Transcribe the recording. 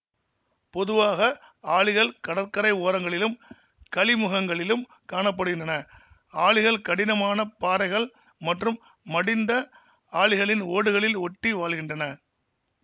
பொதுவாக ஆளிகள் கடற்கரை ஓரங்களிலும் கழிமுகங்களிலும் காண படுகின்றன ஆளிகள் கடினமானப் பாறைகள் மற்றும் மடிந்த ஆளிகளின் ஓடுகளில் ஒட்டி வாழ்கின்றன